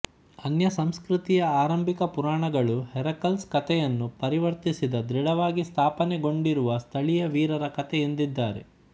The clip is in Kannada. ಅನ್ಯ ಸಂಸ್ಕೃತಿಯ ಆರಂಭಿಕ ಪುರಾಣಗಳು ಹೆರಾಕಲ್ಸ್ ಕಥೆಯನ್ನು ಪರಿವರ್ತಿಸಿದ ದೃಢವಾಗಿ ಸ್ಥಾಪನೆಗೊಂಡಿರುವ ಸ್ಥಳೀಯ ವೀರರ ಕಥೆ ಎಂದಿದ್ದಾರೆ